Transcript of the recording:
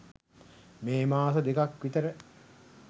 මේ මාස දෙකක් විතර